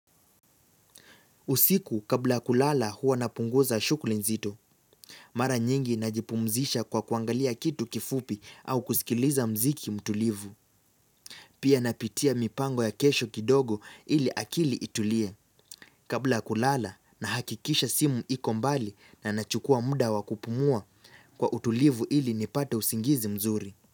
Usiku kabla ya kulala huwa napunguza shukuli nzito. Mara nyingi najipumzisha kwa kuangalia kitu kifupi au kusikiliza mziki mtulivu. Pia napitia mipango ya kesho kidogo, ili akili itulie. Kabla kulala, nahakikisha simu iko mbali na nachukua mda wa kupumua, kwa utulivu ili nipate usingizi mzuri.